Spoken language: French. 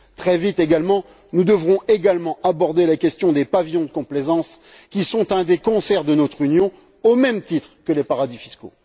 Très vite également, nous devrons aborder la question des pavillons de complaisance, qui sont un des cancers de notre Union, au même titre que les paradis fiscaux.